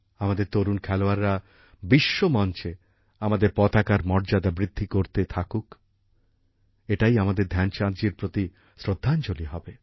আমাদের তরুণ খেলোয়াড়রা বিশ্ব মঞ্চে আমাদের পতাকার মর্যাদা বৃদ্ধি করতে থাকুক এটাই আমাদের ধ্যানচাঁদজির প্রতি শ্রদ্ধাঞ্জলি হবে